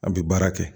A bɛ baara kɛ